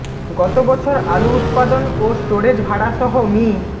গত বছর আলু উৎপাদন ও স্টোরেজ ভাড়া সহ মি